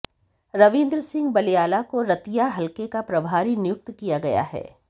रविंद्र सिंह बलियाला को रतिया हलके का प्रभारी नियुक्त किया गया है